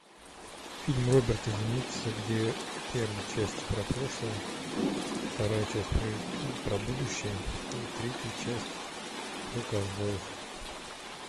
фильм роберта земекиса где первая часть про прошлое вторая часть про будущее и третья часть про ковбоев